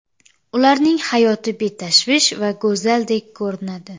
Ularning hayoti betashvish va go‘zaldek ko‘rinadi.